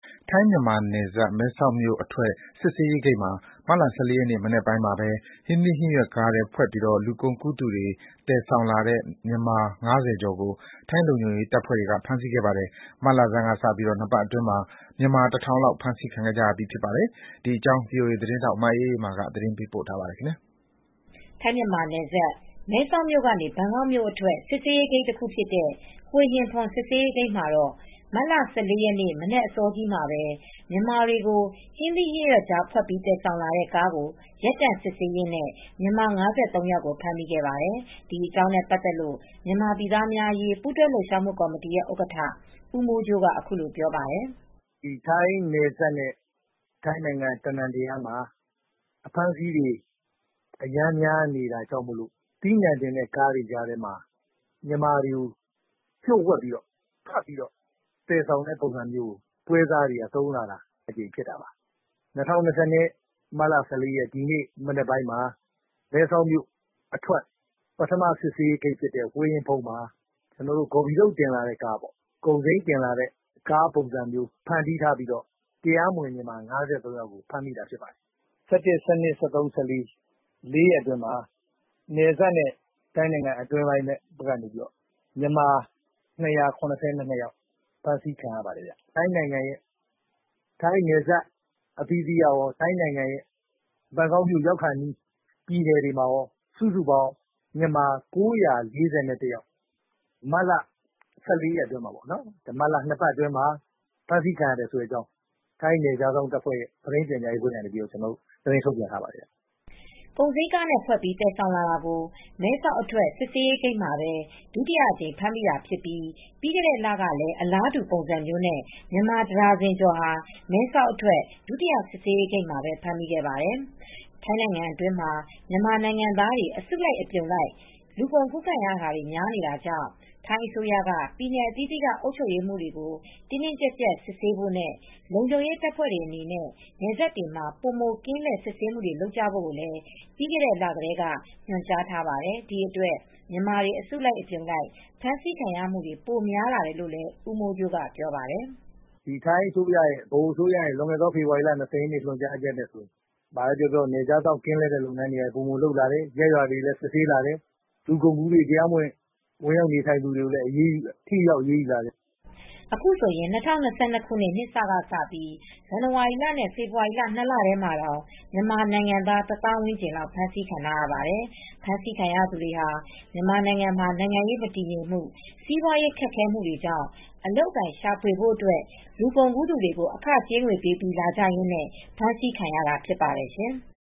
ထိုင်းမြန်မာနယ်စပ်၊ မဲဆောက်မြို့ အထွက်စစ်ဆေးရေးဂိတ်မှာမတ်လ ၁၄ရက်နေ့မနက်ပိုင်းမှာပဲ ဟင်းသီးဟင်းရွက်ကားထဲဖွက်ပြီး လူကုန်ကူးသူတွေ သယ်ဆောင်လာတဲ့မြန်မာ ၅၀ကျော်ကို ထိုင်းလုံခြုံရေးတပ်ဖွဲ့တွေကဖမ်းဆီးခဲ့ပါတယ်။ မတ်လဆန်းကစပြီး၂ပတ်အတွင်း မြန်မာ တထောင်လောက်ဖမ်းဆီးခံရပါတယ်။ ဒီသတင်းကိုဗွီအိုအေသတင်းထောက်မအေးအေးမာကသတင်းပေးပို့ထားပါတယ်။ ထိုင်းမြန်မာနယ်စပ် မဲဆောက်မြို့ကနေ ဘန်ကောက်မြို့အတွက် စစ်ဆေးရေးဂိတ်တခုဖြစ်တဲ့" ဟွေဟင်ဖွန် "စစ်ဆေးရေးဂိတ်မှာတော့ မတ်လ၁၄ရက်နေ့မနက်အစောကြီးမှာပဲ မြန်မာတွေကို ဟင်းသီးဟင်းရွက်ကြားဖွက်ပြီး သယ်ဆောင်လာတဲ့ ကားကိုရပ်တန့်စစ်ဆေးရင်းနဲ့ြ မန်မာ၅၃ယောက်ဖမ်းမိခဲ့ပါတယ်။ ဒီအကြောင်းနဲ့ပတ်သက်လို့မြန်မာပြည်သးားများအရေးပူးတွဲလှုပ်ရှားမူ့ကော်မတီရဲ့ဥက္ကဌ ဦးမိုးကြိုးကအခုလိုပြောပါတယ်။ "ဒီထိုင်းနယ်စပ်နဲ့ ထိုင်းနိုင်ငံအနှံအပြားမှာ အဖမ်းအဆီးတွေများအရမ်းများနေတဲ့အတွက် အသီးအနှံတင်တဲ့ကားတွေထဲမှာမြန်မာတွေကိုလှို့ဝှက်ဖွက်ပြီးသယ်ဆောင်တာမျိုးကိုပွဲစားတွေကသုံးလာတာပါ။ ၂၀၂၂ခုနှစ်၊ မတ်လ ၁၄ရက်နေ့ ဒီနေ့မနက် မှာမဲဆောက်မြို့အထွက်ပထမစစ်ဆေးရေးဂိတ်ဖြစ်တဲ့ဟွေဟင်ဖွန်ဂိတ်မှာ ဂေါ်ဖီထုတ်တင်လာတဲ့ပေါ့၊ ကုန်စိမ်းတင်တဲ့ကားပုံစံဖန်တီးထားပြီး တရားမဝင် မြန်မာ၅၃ယောက်တင်လာလို့ဖမ်းမိတာဖြစ်ပါတယ်။ မတ်လ ၁၁ ၊၁၂၊ ၁၃၊ ၁၄ လေးရက်အတွင်းမှာ နယ်စပ်နဲ့ထိုင်းနိုင်ငံအတွင်းမှာ မြန်မာ (၂၇၂ ယောက်ဖမ်းဆီးခံရတယ်။ ထိုင်းနယ်စပ်အသီးသီးကကော ထိုင်းနိုင်ငံဘန်ကောက်မြို့ရောက်ခါနီးပြည်နယ်တွေမှာကောစုစုပေါင်း မြန်မာ ၉၄၁ ယောက် မြန်မာ ရက်နေ့ထိ ၂ပတ်အတွင်းမှာ ဖမ်းမိတဲ့အကြောင်း ထိုင်းနယ်ခြားစောင့်တပ်က သတင်းထုတ်ပြန်ထားပါတယ်။" ကုန်စီမ်းကားတွေနဲ့ဖွက်ပြီးသယ်ဆောင်လာတာကို မဲဆောက်အထွက်စစ်ဆေးရေးဂိတ်မှာပဲ ဒုတိယအကြိမ်ဖမ်းမိတာဖြစ်ပြီး ပြီးခဲ့တဲ့လကလည်းအလားတူပုံစံမျိုးနဲ့မြန်မာ တဒါဇင်ကျော် မဲဆောက်အထွက်ဒုတိယစစ်ဆေးရေးဂိတ်မှာပဲ ဖမ်းမိခဲ့ပါတယ်။ ထိုင်းနိုင်ငံအတွင်းမှာမြန်မာနိုင်ငံသားတွေအစုလိုက်အပြုံလိုက် လူကုန်ကူးခံမူတွေများပြားလာတာကြောင့်ထိုင်းအစိုးရက ပြည်နယ်အသီးသီးကအုပ်ချုပ်ရေးမှူးတွေကို တင်းတင်းကြပ်ကြပ် စစ်ဆေးဖို့နဲ့ လုံခြုံရေးတပ်ဖွဲတွေအနေနဲ့နယ်စပ်တွေမှာပိုမိုကင်းလှည့်စစ်ဆေးမူတွေလုပ်ကြဖို့လည် းပြီးခဲ့တဲ့လကတည်းကညွန်ကြားထားပါတယ်။ ဒီအတွက်မြန်မာတွေ အစုလိုက်အပြုံလိုက် ဖမ်းဆီးခံရမှုတွေပိုများလာတယ်လို့လည်း ဦးမိုးကြိုးကလည်းပြောပါတယ်။ "ထိုင်းအစိုးရရဲ့လွန်ခဲ့တဲ့ ဖေဖေါ်ဝါရီလ ၂၀ရက်နေ့ညွန်ကြားချက်အရနယ်ခြားစောင့်ကင်းလှည့်လုပ်ငန်းတွေလည်းပိုမိုလုပ်လာတယ်။ ရပ်ရွာတွေမှာလည်းပိုပြီးစစ်ဆေးလာတယ်လူကုန်ကူးမူတွေကိုလည်းပိုပြီး ထိထိရောက်ရောက်အရေးယူလာတယ် " အခုဆိုရင် ၂၀၂၂ခုနှစ်နှစ်စကစပြိး ဇန်နဝါရီလနဲ့ဖေဖေါ်ဝါရီလ ၂လထဲမှာတောင်မြန်မာနိုင်ငံသား တသောင်ဝန်းကျင်လောက်ဖမ်းဆီးခံထားရပါတယ်။ ဖမ်းဆီးခံရသူတွေဟာမြန်မာနိုင်ငံမှာနိုင်ငံရေးမတည်ငြိမ်မူ့ စီးပွားရေးခက်ခဲမှု တွေကြောင့်အလုပ်အကိုင်ရှာဖွေဖို့အတွက် လူကုန်ကူးသူတွေကိုအခကြေးငွေပေးပြီးလာကြရင်းနဲ့ ခုလိုဖမ်းဆီးခံရတာဖြစ်ပါတယ်ရှင်။